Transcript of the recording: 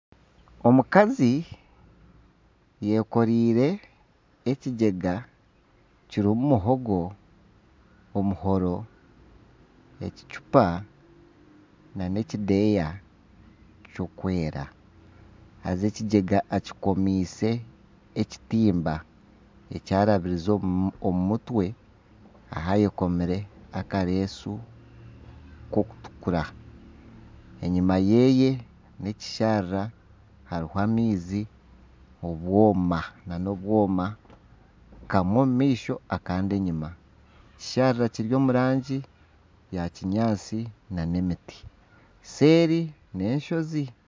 Omukazi ayekoreire ekigyega kirumu muhogo, omuhoro ekicupa nana ekideeya kirukwera haza ekigyega akikomiise ekitimba ekyarabize omu mutwe ahu ayekomire akareesu k'okutukura, enyuma yeye nekisharara haruho amaizi nana obwoma kamwe omu maisho akandi enyuma . Ekisharara kiri omu rangi ya kinyaatsi nana emiti, seeri n'enshozi.